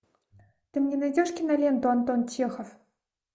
ты мне найдешь киноленту антон чехов